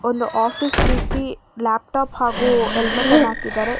Office ರೀತಿ laptop ಹಾಗು helmet ಅನ್ನ ಹಾಕಿದ್ದಾರೆ.